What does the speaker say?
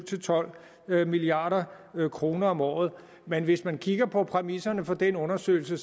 tolv milliard kroner om året men hvis man kigger på præmisserne for den undersøgelse